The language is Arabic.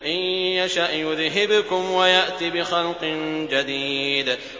إِن يَشَأْ يُذْهِبْكُمْ وَيَأْتِ بِخَلْقٍ جَدِيدٍ